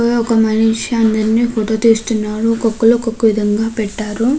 టోలో ఒక మనిషి అందర్నీ ఫోటో తీస్తున్నారు. ఒక్కొక్కళ్ళు ఒక్కొక్క విధంగా పెట్టారు.